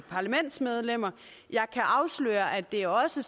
parlamentsmedlemmer jeg kan afsløre at det også